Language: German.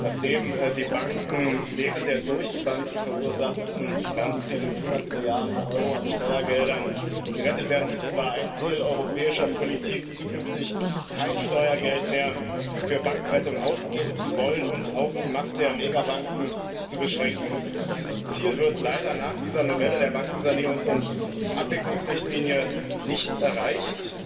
Nachdem die Banken während der durch die Banken verursachten Finanzkrise mit 100 Milliarden Euro an Steuergeldern gerettet werden mussten, war ein Ziel europäischer Politik, zukünftig kein Steuergeld mehr für Bankenrettung ausgeben zu wollen und auch die Macht der Megabanken zu beschränken. Dieses Ziel wird leider nach dieser Novelle der Bankensanierungs und Abwicklungsrichtlinie nicht erreicht.